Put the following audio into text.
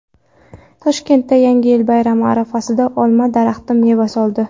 Toshkentda Yangi yil bayrami arafasida olma daraxti meva soldi .